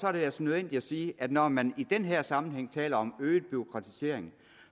er det altså nødvendigt at sige at når man i den her sammenhæng taler om øget bureaukratisering